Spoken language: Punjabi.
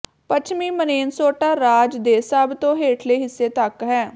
ਪੱਛਮੀ ਮਨੇਨਸੋਟਾ ਰਾਜ ਦੇ ਸਭ ਤੋਂ ਹੇਠਲੇ ਹਿੱਸੇ ਤੱਕ ਹੈ